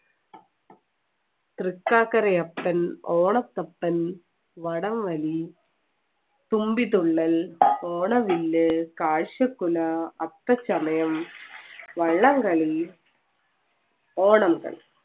തൃക്കാക്കരയപ്പൻ, ഓണത്തപ്പൻ, വടംവലി, തുമ്പിതുള്ളൽ ഓണവില്ല്, കാഴ്ചകുല, അത്തച്ചമയം, വള്ളംകളി ഓണ